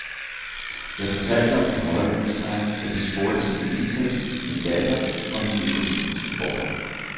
Jeg fortalte om den høje husleje, og de spurgte til min indtægt, min datter og mine økonomiske forhold.